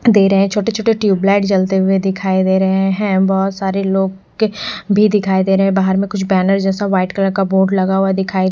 दे रगे हैं छोटे छोटे ट्यूबलाइट जलते हुए दिखाई दे रहे हैं बहुत सारे लोग के भी दिखाई दे रहे हैं बाहर मे कुछ बैनर जैसा व्हाइट कलर का बोर्ड लगा हुआ दिखाई--